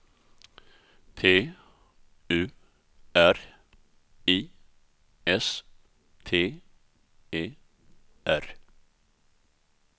T U R I S T E R